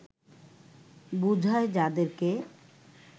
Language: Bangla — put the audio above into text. বুঝায় যাদেরকে